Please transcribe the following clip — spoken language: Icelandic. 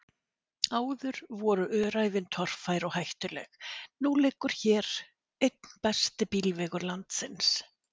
Áður voru öræfin torfær og hættuleg, nú liggur hér einn besti bílvegur landsins.